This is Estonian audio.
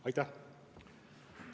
Aitäh!